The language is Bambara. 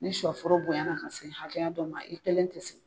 Ni sɔ foro bonya na ka se hakɛya dɔ ma i kelen tɛ se.